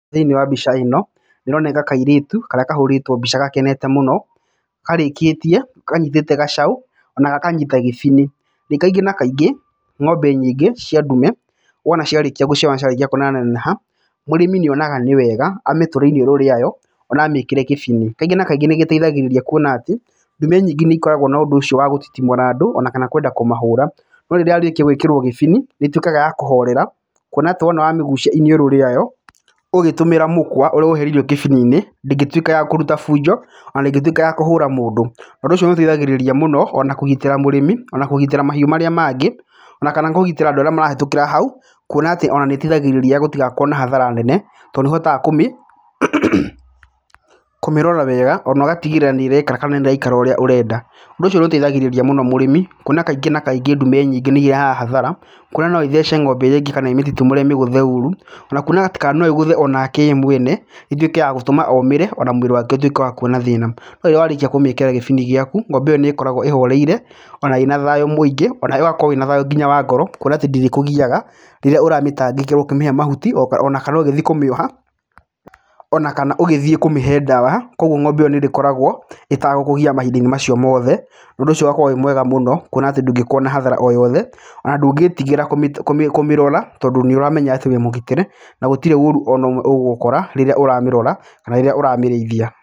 Thĩinĩ wa mbica ĩno, ĩroneka kairĩtu karĩa kahũrĩtwo mbica gakenete mũno, karĩkĩtie kanyitĩte gacau ona gakanyita gĩbini. Kaingĩ na kaingfĩ ng'ombe nyingĩ cia ndume ona ciarĩkia gũciarwo na ciarĩkia kũnenaneneha mũrĩmi nĩ onaga nĩ wega amĩtũre iniũrũ rĩayo ona amĩkĩre gĩbini. Kaingĩ na kaingĩ nĩ gĩteithagĩrĩria kuona atĩ ndume nyingĩ nĩ ikoreagwo na ũndũ ũcio wa gũtitimũra andũ ona kana kwenda kũmahũra. No rĩrĩa yekĩrwo gĩbini nĩ ĩtuĩkaga ya kũhorera kuona atĩ wamĩgucia iniũrũ rĩayo ũgĩtũmĩra mũkwa ũrĩa wohereirwo gĩbini-inĩ ndĩngĩ tuĩka ya kũruta bunjo na ndĩkĩtuĩka ya kũhũra mũndũ. Ũndũ ũcio nĩ ũteithagĩrĩria mũno ona kũgitĩra mũrĩmi ona kũgitĩra mahiũ marĩa mangĩ ona kana kũgitĩra anbdũ arĩa marahĩtũkĩra hau kũona atĩ ona nĩ ĩteithagĩrĩria gũtigakorwo na hathara nene tondũ nĩ ũhotaga kũmĩrora wega ona ũgatigĩrĩra nĩ ĩreka kana nĩ ĩraikara ũrĩa ũrenda. Ũndũ ũcio nĩ ũteithagĩrĩria mũno mũrĩmi kuona kaingĩ na kaingĩ ndume nyoingĩ nĩ irehaga hathara kuona no ithece ng'ombe iria ingĩ kana ĩmĩtitimũre ĩmĩgũthe ũru, ona kuona atĩ kana no ĩgũthe ye mwene ĩtũme wa gũtuĩka omĩre ona mwĩrĩ wake kuona thĩna. No rĩrĩa warĩkia kũmĩkĩra gĩbini gĩaku ng'ombe ĩyo nĩ ĩkoragwo ĩhoreire ona ĩna thayũ mũingĩ onawe ũgakorwo wĩna thayũ wa ngoro kuoina atĩ ndĩrĩkũgiaga rĩrĩa ũramĩtangĩkĩra ũkĩmĩhe mahuti ona kana ũgĩthiĩ kũmĩoha oana kana ũgĩthiĩ kũmĩhe ndawa. Koguo nĩ ĩrĩkoragwo íĩtagũkũgia mahinda-inĩ macio mothe ũndũ ũcio ũgakorwo wĩ mwega mũno kuona atĩ ndungĩkorwo na hathara o yothe, ona ndũngĩtigĩra kũmĩrora toindũ nĩ ũramenya atĩ wĩ mũgitĩre na gũtirĩ ũru ona ũmwe ũgũgũkora rĩrĩa ũramĩrora kana rĩrĩa ũramĩrĩithia.